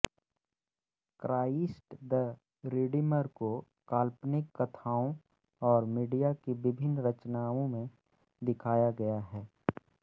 Christ the Redeemer को काल्पनिक कथाओं और मीडिया की विभिन्न रचनाओं में दिखाया गया है